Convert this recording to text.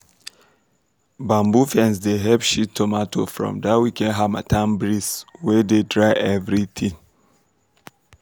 bamboo fence dey help shield tomato from that wicked harmattan breeze wey dey dry everything.